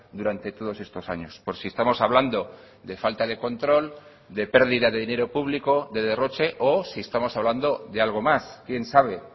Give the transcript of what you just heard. durante todos estos años por si estamos hablando de falta de control de pérdida de dinero público de derroche o si estamos hablando de algo más quién sabe